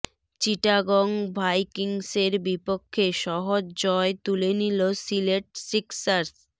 চিটাগং ভাইকিংসের বিপক্ষে সহজ জয় তুলে নিল সিলেট সিক্সার্স